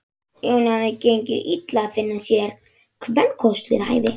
Jóni hafði gengið illa að finna sér kvenkost við hæfi.